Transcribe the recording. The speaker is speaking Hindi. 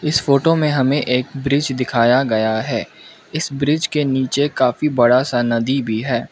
इस फोटो मे हमे एक ब्रिज दिखाया गया है इस ब्रिज के नीचे काफी बड़ा सा नदी भी है।